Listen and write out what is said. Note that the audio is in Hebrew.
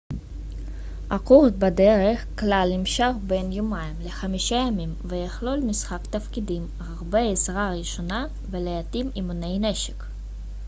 הקורס בדרך כלל יימשך בין יומיים ל-5 ימים ויכלול משחק תפקידים הרבה עזרה ראשונה ולעתים אימוני נשק